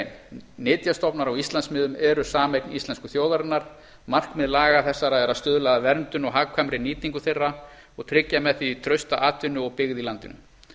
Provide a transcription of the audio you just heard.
grein nytjastofnar á íslandsmiðum eru sameign íslensku þjóðarinnar markmið laga þessara er að stuðla að verndun og hagkvæmri nýtingu þeirra og tryggja með því trausta atvinnu og byggð í landinu